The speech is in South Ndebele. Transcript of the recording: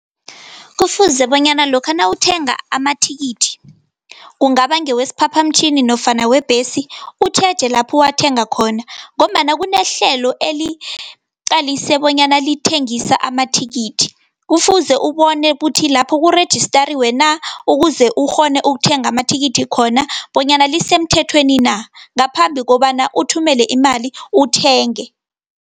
Kufuze bonyana lokha nawuthenga amathikithi, kungaba ngewesiphaphamtjhini nofana webhesi, utjheje lapho uwathenga khona, ngombana kunehlelo eliqalise bonyana lithengisa amathikithi. Kufuze ubone ukuthi lapho kurejistariwe na, ukuze ukghone ukuthenga amathikithi khona, bonyana lisemthethweni na, ngaphambi kobana uthumele imali uthenge.